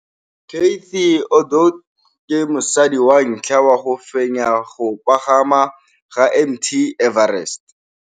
Cathy Odowd ke mosadi wa ntlha wa go fenya go pagama ga Mt Everest.